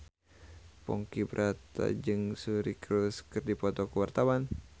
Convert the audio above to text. Ponky Brata jeung Suri Cruise keur dipoto ku wartawan